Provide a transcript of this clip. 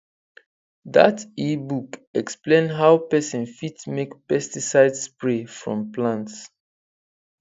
that ebook explain how person fit make pesticide spray from plants